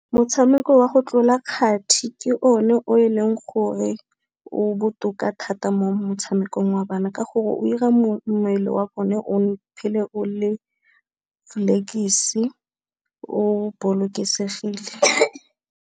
Motshameko wa go tlola kgati ke o ne o e leng gore o botoka thata mo motshamekong wa bana, ka gore o ira mmele wa bone o phele o le o bolokesegile.